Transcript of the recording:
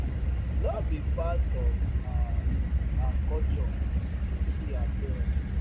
no be part of our our culture to kill our parents